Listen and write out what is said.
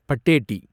பட்டேட்டி